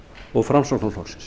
og framsóknarflokksins